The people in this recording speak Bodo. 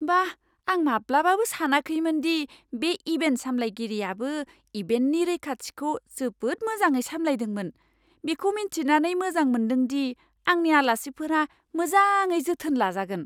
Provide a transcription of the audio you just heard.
बाह, आं माब्लाबाबो सानाखैमोन दि बे इभेन्ट सामलायगिरियाबो इभेन्टनि रैखाथिखौ जोबोद मोजाङै सामलायदोंमोन। बेखौ मिथिनानै मोजां मोन्दोंदि आंनि आलासिफोरा मोजाङै जोथोन लाजागोन।